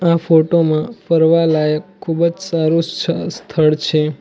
આ ફોટો માં ફરવા લાયક ખુબ જ સારું સ્થળ છે.